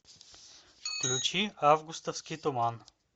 включи августовский туман